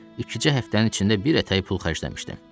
İki-üç həftənin içində bir ətəyi pul xərcləmişdim.